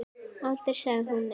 Aldrei sagði hún nei.